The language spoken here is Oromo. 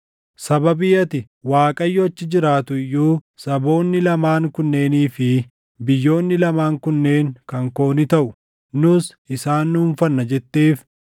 “ ‘Sababii ati, “ Waaqayyo achi jiraatu iyyuu, saboonni lamaan kunneenii fi biyyoonni lamaan kunneen kan koo ni taʼu; nus isaan dhuunfanna” jetteef,